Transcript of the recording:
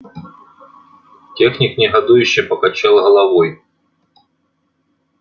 техник негодующе покачал головой